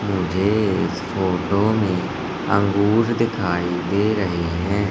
मुझे इस फोटो मे अंगूर दिखाई दे रहे है।